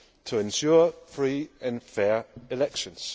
to ensure free and fair elections.